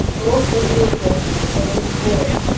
просто реки на весь город